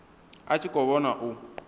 a tshi khou vhona u